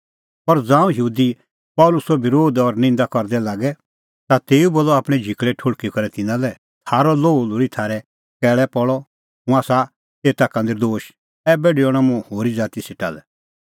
पर ज़ांऊं यहूदी पल़सीओ बरोध और निंदा करदै लागै ता तेऊ बोलअ आपणैं झिकल़ै ठुल़्हकी करै तिन्नां लै थारअ लोहू लोल़ी थारै कैल़ै पल़अ हुंह आसा एता का नर्दोश ऐबै डेऊणअ मुंह होरी ज़ाती सेटा लै